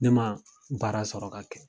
Ne ma baara sɔrɔ ka kɛ